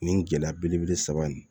Nin gɛlɛya belebele saba in